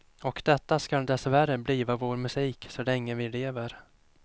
Och detta skall dessvärre bliva vår musik så länge vi lever.